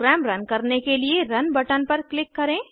programme run करने के लिए रुन बटन पर क्लिक करें